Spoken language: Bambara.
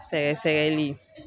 Sɛgɛsɛgɛli.